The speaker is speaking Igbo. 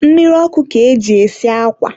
mmiri ọkụ ka e ji esi akwa.